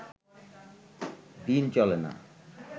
দিন চলে না